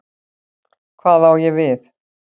Hvað á ég við?